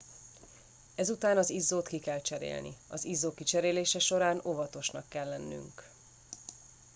ezután az izzót ki kell cserélni az izzó kicserélése során óvatosnak kell lennünk